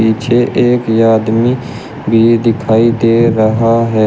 पीछे एक आदमी भी दिखाई दे रहा है।